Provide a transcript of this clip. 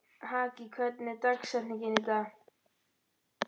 Haki, hver er dagsetningin í dag?